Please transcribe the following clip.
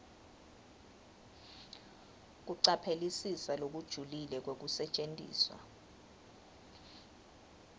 kucaphelisisa lokujulile kwekusetjentiswa